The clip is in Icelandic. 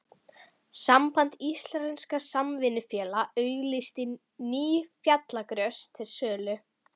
Samband íslenskra samvinnufélaga auglýsti ný fjallagrös til sölu.